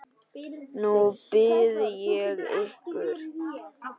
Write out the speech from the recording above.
Nú bið ég ykkur